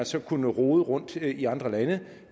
så kunne rode rundt i andre lande